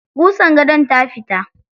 Ƙusan gadon ta fita.